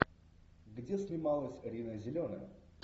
где снималась рина зеленая